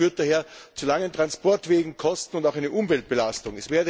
Das heißt, das führt daher zu langen Transportwegen, Kosten und auch einer Umweltbelastung.